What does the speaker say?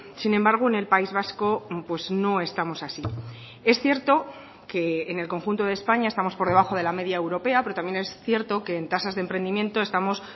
sin embargo en el país vasco no estamos así es cierto que en el conjunto de españa estamos por debajo de la media europea pero también es cierto que en tasas de emprendimiento estamos